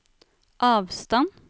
avstand